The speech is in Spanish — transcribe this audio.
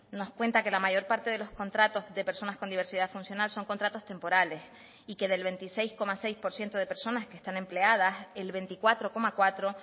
nos cuenta que la mayor parte de los contratos de personas con diversidad funcional son contratos temporales y que del veintiséis coma seis por ciento de personas que están empleadas el veinticuatro coma cuatro